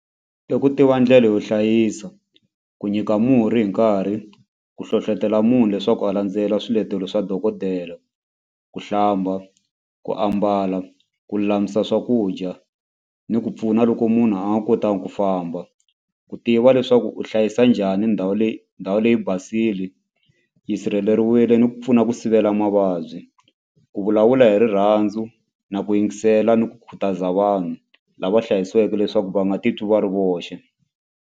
I ku tiva ndlela yo hlayisa ku nyika murhi hi nkarhi ku hlohlotelo munhu leswaku a landzela swiletelo swa dokodela ku hlamba ku ambala ku lulamisa swakudya ni ku pfuna loko munhu a nga kotangi ku famba ku tiva leswaku u hlayisa njhani ndhawu leyi ndhawu leyi basile yi sirheleriwile ni ku pfuna ku sivela mavabyi ku vulavula hi rirhandzu na ku yingisela ni ku khutaza vanhu lava hlayisiweke leswaku va nga titwi va ri voxe.